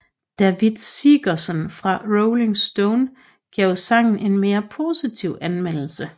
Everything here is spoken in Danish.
Davitt Sigerson fra Rolling Stone gav sangen en mere positiv anmeldelse